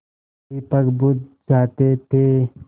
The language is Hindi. दीपक बुझ जाते थे